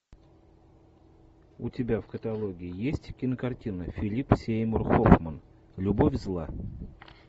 у тебя в каталоге есть кинокартина филип сеймур хоффман любовь зла